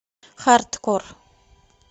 хардкор